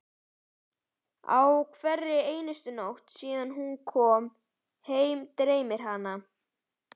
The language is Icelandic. Á hverri einustu nóttu síðan hún kom heim dreymir hana